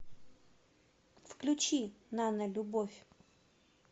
включи нанолюбовь